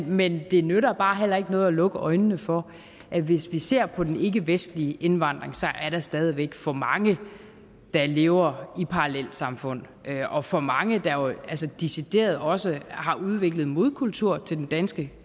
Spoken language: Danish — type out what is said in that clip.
men det nytter bare heller ikke noget at lukke øjnene for at hvis vi ser på den ikkevestlige indvandring er der stadig væk for mange der lever i parallelsamfund og for mange der jo decideret også har udviklet modkulturer til den danske